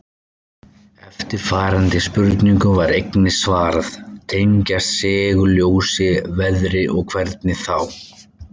Eftirfarandi spurningu var einnig svarað: Tengjast segulljós veðri og hvernig þá?